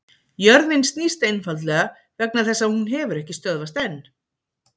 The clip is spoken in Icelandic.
Jörðin snýst einfaldlega vegna þess að hún hefur ekki stöðvast enn!